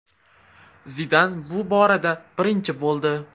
Zidan bu borada birinchi bo‘ldi.